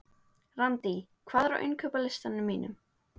Randý, hvað er á innkaupalistanum mínum?